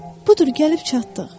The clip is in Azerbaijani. Budur, gəlib çatdıq.